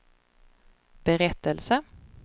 berättelse